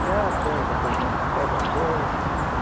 Tcha pega, por exemplo, pega dez.